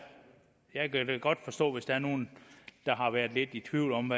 godt forstå hvis der er nogle der har været lidt i tvivl om